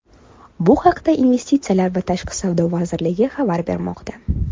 Bu haqda Investitsiyalar va tashqi savdo vazirligi xabar bermoqda .